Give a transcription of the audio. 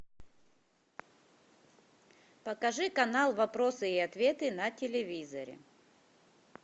покажи канал вопросы и ответы на телевизоре